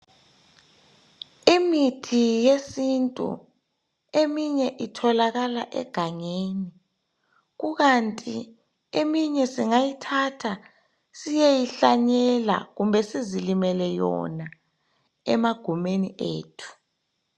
Imithi yesintu. Eminye itholakala egangeni kukandi eminye singayithatha siyeyihlanyela kumbe sizilimele yona emagumeni ethu.